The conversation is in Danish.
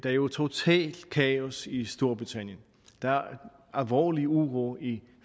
er jo totalt kaos i storbritannien alvorlig uro i